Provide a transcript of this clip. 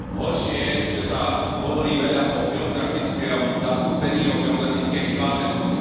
Horšie je, že sa hovorí veľa o geografickom zastúpení, o geografickej vyváženosti.